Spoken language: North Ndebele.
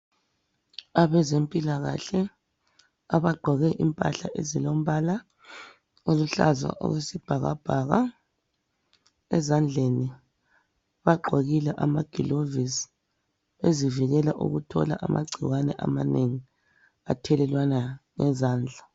Abezempilakahle abagqoke impahla ezilombala oluluhlaza okwesibhakabhaka ezandleni bagqokile amagilovisi bezivikela ukuthola amagcikwane amanengi athelelwana ngezandla.